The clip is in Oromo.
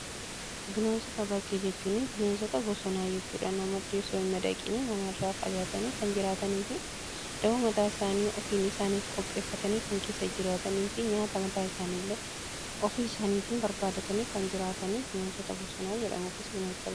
Bineensota bakkee jechuun bineensota bosonaa jechuudha. Namootti osoo hin madaqiin namarraa fagaatanii kan jiraatanii fi da'oo mataa isaanii ofiin isaaniif qopheeffatanii kan keessa jiraatanii fi nyaata mataa isaaniillee ofii isaaniitiin barbaadatanii kan jiraatanii bineensota bosonaa jedhamu.